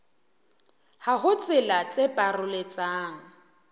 ha ho tsela tse paroletsang